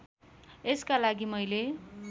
यसका लागि मैले